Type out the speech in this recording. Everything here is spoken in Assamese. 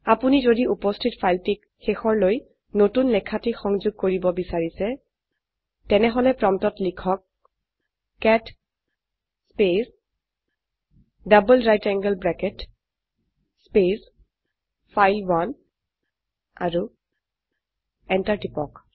আপোনি যদি উপস্থিত ফাইলটিক শেষৰলৈ নতুন লেখাটি সংযোগ কৰিব বিচাৰিছেন তেনেহলে প্ৰম্পটত লিখক cat space double right angle bracket space file one আৰু এন্টাৰ টিপক